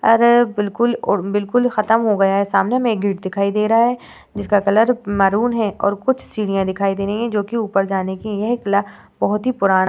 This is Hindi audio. और बिलकुल बिलकुल खत्म हो गया है। सामने में गेट दिखाई दे रहा है जिसका कलर मैरून है और कुछ सीढियाँ दिखाई दे रही हैं जोकि ऊपर जाने के लिए बहोत ही पुराण --